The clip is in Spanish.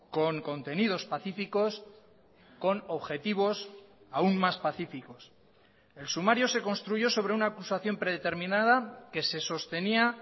con contenidos pacíficos con objetivos aún más pacíficos el sumario se construyó sobre una acusación predeterminada que se sostenía